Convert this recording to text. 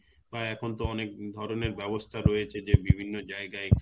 বা এখন তো অনেক ধরনের ব্যবস্থা রয়েছে যে বিভিন্ন যায়গায়